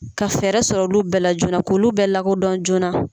Ka fɛɛrɛ sɔrɔ olu bɛɛ la joona k'ulu bɛɛ lakodɔn joona.